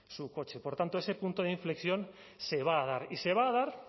su coche por tanto ese punto de inflexión se va a dar y se va a dar